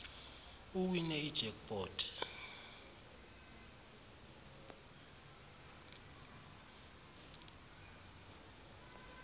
uwine ijack pot